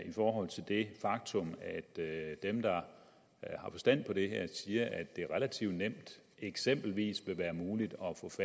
i forhold til det faktum at dem der har forstand på det her siger at det er relativt nemt og eksempelvis vil være muligt